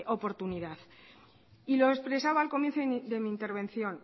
oportunidad y lo expresaba al comienzo de mi intervención